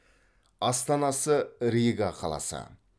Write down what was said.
астанасы рига қаласы